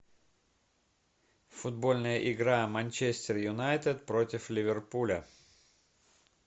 футбольная игра манчестер юнайтед против ливерпуля